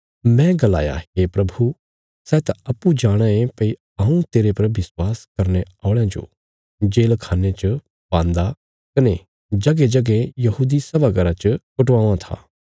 मैं गलाया हे प्रभु सै त अप्पूँ जाणाँ ये भई हऊँ तेरे पर विश्वास करने औल़यां जो जेलखान्ने च पान्दा कने जगेंजगें यहूदी सभा घर च कुटावां था